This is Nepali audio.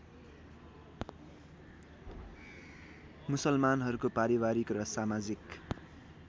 मुसलमानहरूको पारिवारिक र समाजिक